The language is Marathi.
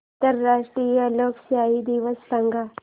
आंतरराष्ट्रीय लोकशाही दिवस सांगा